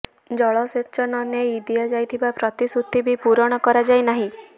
ଜଳସେଚନ ନେଇ ଦିଆଯାଇଥିବା ପ୍ରତିଶ୍ରୁତି ବି ପୂରଣ କରାଯାଇ ନାହିଁ